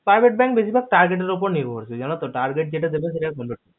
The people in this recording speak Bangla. private bank বেশির ভাগ targer টের উপর নির্ভরশীল জানো তো target যেটা দেবে যেটা